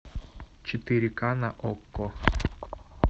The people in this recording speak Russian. четыре ка на окко